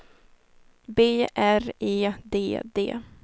B R E D D